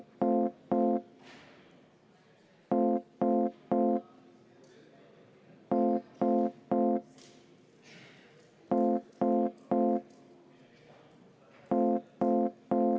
Hääletada ei taha?